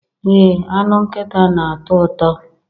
Ee anụ nkịta na-atọ ụtọ